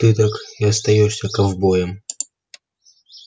ты так и остаёшься ковбоем